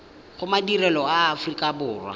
go madirelo a aforika borwa